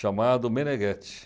chamado Menegheti.